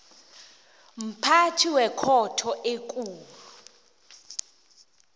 mphathi wekhotho ekulu